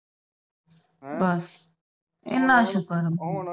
ਬਸ